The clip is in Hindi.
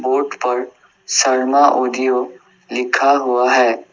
बोर्ड पर शर्मा ऑडियो लिखा हुआ है।